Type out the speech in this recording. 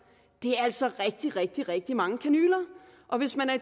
det er altså rigtig rigtig rigtig mange kanyler og hvis man er